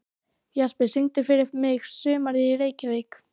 Jesper, syngdu fyrir mig „Sumarið í Reykjavík“.